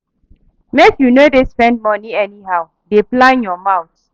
Make you no dey spend moni anyhow, dey plan your month.